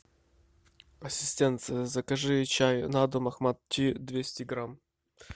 ассистент закажи чай на дом ахмат ти двести грамм